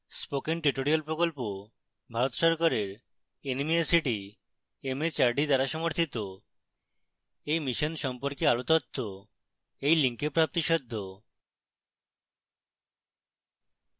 spoken tutorial প্রকল্প ভারত সরকারের nmeict mhrd দ্বারা সমর্থিত এই mission সম্পর্কে আরো তথ্য এই link প্রাপ্তিসাধ্য